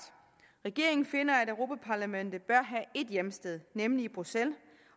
regeringen finder at europa parlamentet bør have et hjemsted nemlig i bruxelles